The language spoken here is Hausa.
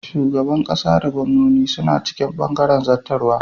Shugaban ƙasa da gwannoni suna cikin bangaren zattarwa.